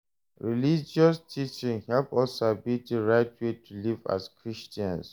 Religious teachings help us sabi di right way to live as Christians.